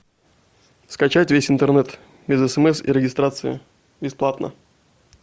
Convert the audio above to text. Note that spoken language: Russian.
скачать весь интернет без смс и регистрации бесплатно